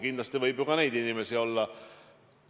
Kindlasti võib ka selliseid inimesi olla.